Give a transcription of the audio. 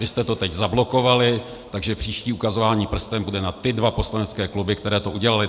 Vy jste to teď zablokovali, takže příští ukazování prstem bude na ty dva poslanecké kluby, které to udělaly.